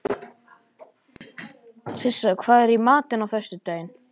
Sissa, hvað er í matinn á föstudaginn?